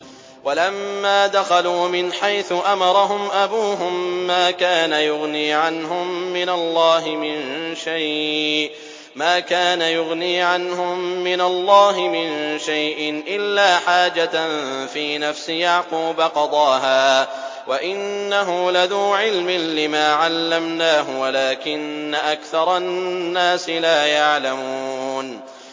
وَلَمَّا دَخَلُوا مِنْ حَيْثُ أَمَرَهُمْ أَبُوهُم مَّا كَانَ يُغْنِي عَنْهُم مِّنَ اللَّهِ مِن شَيْءٍ إِلَّا حَاجَةً فِي نَفْسِ يَعْقُوبَ قَضَاهَا ۚ وَإِنَّهُ لَذُو عِلْمٍ لِّمَا عَلَّمْنَاهُ وَلَٰكِنَّ أَكْثَرَ النَّاسِ لَا يَعْلَمُونَ